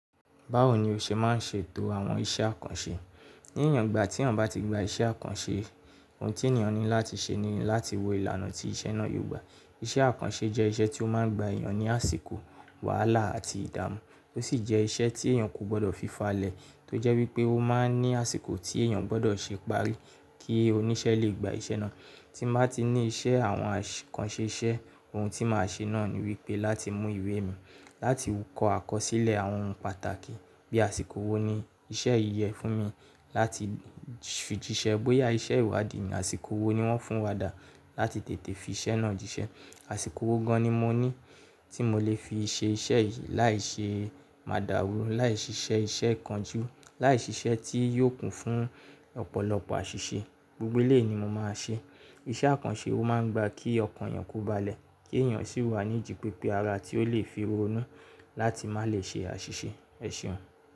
Báwo ni o ṣe máa ń ṣètò àwọn iṣẹ́ àkànṣe? Ní ìwon, ìgbà tí èèyàn bá ti gba iṣẹ́ àkànṣe, ohun tí èèyàn ní láti ṣe ni láti wo ìlànà tí iṣẹ́ náà yóò gba. Iṣẹ́ àkànṣe jẹ́ iṣẹ́ tí ó máa ń gba èèyàn ní àsìkò, wàhálà àti ìdààmú. Ó sì jẹ́ iṣẹ́ tí èèyàn kò gbọdọ̀ fi falẹ̀, tó jẹ́ wípé ó máa ń ní àsìkò tí èèyàn gbọdọ̀ ṣe parí kí oníṣẹ́ lè gba iṣẹ́ náà. Tí mo bá ti ní ìṣe àwọn àkànṣe iṣẹ́, ohun tí màá ṣe náà ni wípé láti mú ìwé mi, láti kọ àkọsílẹ̀ àwọn ohun pàtàkì. Bí àsìkò wo ni iṣẹ́ yí yẹ fún mi láti fi jíṣẹ́. Bóyá iṣẹ́ ìwádìí ni, àsìkò wo ni wọ́n fún wa dà láti tètè fi iṣẹ́ náà jíṣẹ́. Àsìkò wo gan ní mo ní tí mo lè fi ṣe iṣẹ́ yìí láìṣe máadàrú, láì ṣiṣẹ́ iṣẹ́ kan jú, láì ṣiṣẹ́ tí yóò kún fún ọ̀pọ̀lọpọ̀ àṣìṣe. Gbogbo eléyi ni mo máa ṣe. Iṣẹ́ àkànṣe ó máa ń gba kí ọkàn èèyàn kó balẹ̀ kí èèyàn sì wà ní ìdí pé pé ara tí ó lè fi ronú láti má lè ṣe àṣìṣe. Ẹ̀ ṣeùn.